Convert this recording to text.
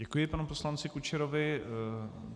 Děkuji panu poslanci Kučerovi.